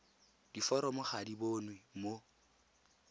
diforomo ga di bonwe mo